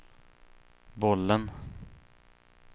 bollen